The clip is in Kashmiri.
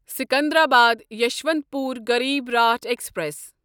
سکندر آباد یسوانتپور غریٖب راٹھ ایکسپریس